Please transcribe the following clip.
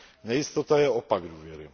Nejistota je opak důvěry.